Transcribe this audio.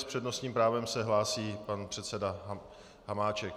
S přednostním právem se hlásí pan předseda Hamáček.